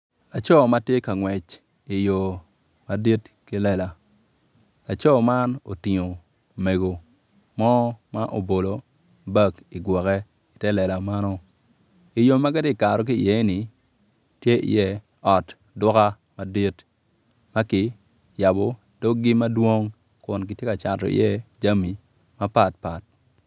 Laco ma tye ka ngwec i yo madit ki lela laco man otingo mego mo ma obolo bag i gwoke i te lela meno i yo ma gitye ka kato ki iye ni tye i ye ot duka madit ma ki yabo doggi madwong kun kitye ka cato iye jami mapatpat.